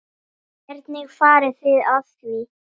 Hvernig farið þið að því?